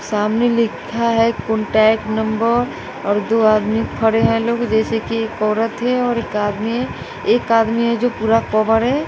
सामने लिखा है कांटेक्ट नंबर और दो आदमी खड़े हैं लोग जैसे की एक औरत है और एक आदमी एक आदमी है जो पूरा कवर है।